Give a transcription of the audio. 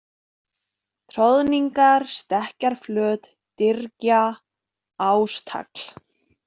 Troðningar, Stekkjarflöt, Dyrgja, Ástagl